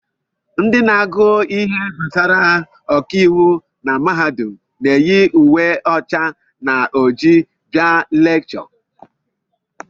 Ndị na-agụ ihe gbasara ọkàiwu na mahadum na-eyi uwe ọcha na ojii abịa lekchọ